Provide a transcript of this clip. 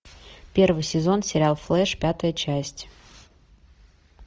первый сезон сериал флэш пятая часть